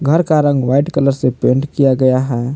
घर का रंग व्हाइट कलर से पेंट किया गया है।